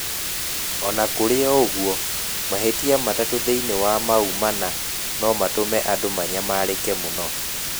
O na kũrĩ ũguo, mahītia matatū thīinī wa mau mana no matũme andũ manyamarĩke mũno.